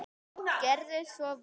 Gerðu svo vel!